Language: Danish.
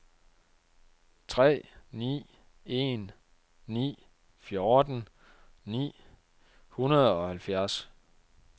tre ni en ni fjorten ni hundrede og halvfjerds